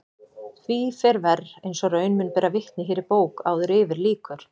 Því fer verr eins og raun mun bera vitni hér í bók áður yfir lýkur.